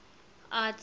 arts